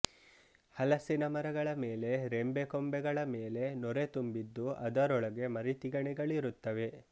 ಹಲಸಿನ ಮರಗಳ ಮೇಲೆ ರೆಂಬೆ ಕೊಂಬೆಗಳ ಮೇಲೆ ನೊರೆ ತುಂಬಿದ್ದು ಅದರೊಳಗೆ ಮರಿ ತಿಗಣೆಗಳಿರುತ್ತವೆ